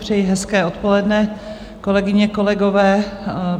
Přeji hezké odpoledne, kolegyně, kolegové.